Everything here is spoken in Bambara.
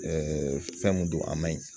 fɛn mun don a man ɲi